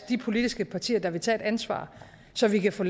de politiske partier der vil tage et ansvar så vi kan få